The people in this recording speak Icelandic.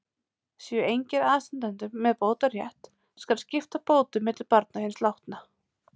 Séu engir aðstandendur með bótarétt, skal skipta bótum milli barna hins látna.